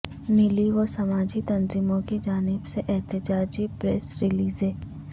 ملی و سماجی تنظیموں کی جانب سے احتجاجی پریس ریلزیں